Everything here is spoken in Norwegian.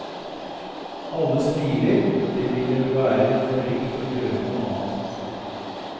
Alle smiler, det ville være forrykt å gjøre noe annet.